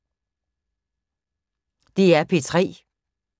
DR P3